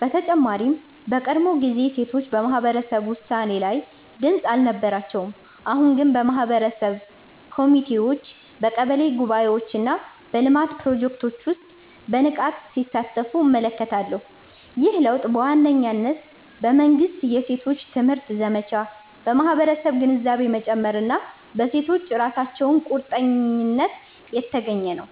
በተጨማሪም በቀድሞ ጊዜ ሴቶች በማህበረሰብ ውሳኔ ላይ ድምጽ አልነበራቸውም፤ አሁን ግን በማህበረሰብ ኮሚቴዎች፣ በቀበሌ ጉባኤዎች እና በልማት ፕሮጀክቶች ውስጥ በንቃት ሲሳተፉ እመለከታለሁ። ይህ ለውጥ በዋነኝነት በመንግሥት የሴቶች ትምህርት ዘመቻ፣ በማህበረሰብ ግንዛቤ መጨመር እና በሴቶቹ ራሳቸው ቁርጠኝነት የተገኘ ነው።